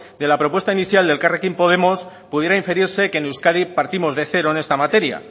de la propuesta inicial de elkarrekin podemos pudiera inferirse que en euskadi partimos de cero en esta materia